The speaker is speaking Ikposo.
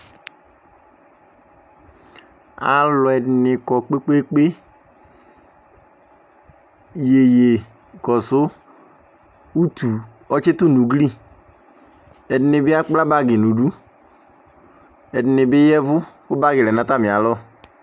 Alʊ ɛdɩnɩ kɔ kpe kpee kpe Yeyekɔsʊ, utu ɔtsɩtʊ nʊ ugli Ɛdɩnɩbɩ asuia bagi nʊ idu Ɛdɩnɩbɩ yavʊ kʊ bagi lɛ nʊ atami alɔ